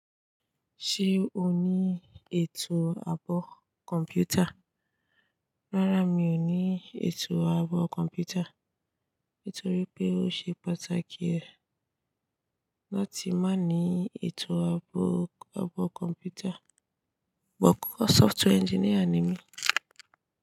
Ṣé o ní ètò àbọ̀ kọ̀mpútà? Rárá, mi ò ní ètò àbọ̀ kọ̀mpútà. Nítorí pé ó ṣe pàtàkì ẹ́ láti má ní ètò àbọ̀, àbọ̀ kọ̀mpútà. Ṣùgbọ́n software engineer ni mi.